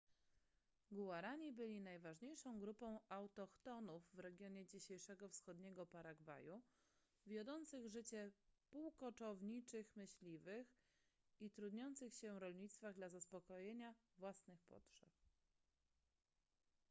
guarani byli najważniejszą grupą autochtonów w regionie dzisiejszego wschodniego paragwaju wiodących życie półkoczowniczych myśliwych i trudniących się rolnictwach dla zaspokojenia własnych potrzeb